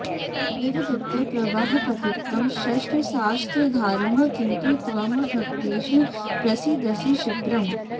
विवदत् प्रवाहपतितम् षट्शास्त्राधारम् किन्तु त्वम् भक्तेषु प्रसीदसि क्षिप्रम्